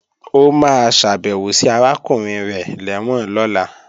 Ó máa ṣàbèwò sí arákùnrin rẹ̀ lẹ́wọ̀n lọ́la